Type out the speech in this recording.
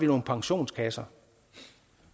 nogle pensionskasser